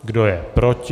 Kdo je proti?